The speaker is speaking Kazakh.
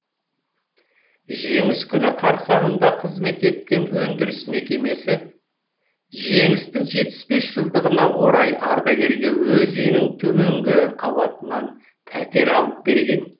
жеңіс күні қарсаңында қызмет еткен өндіріс мекемесі жеңістің жетпіс бес жылдығына орай ардагерге өз үйінің төменгі қабатынан пәтер алып берген